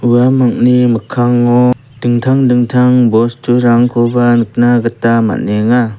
uamangni mikkango dingtang dingtang bosturangkoba nikna gita man·enga.